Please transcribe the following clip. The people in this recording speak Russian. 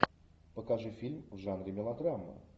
покажи фильм в жанре мелодрама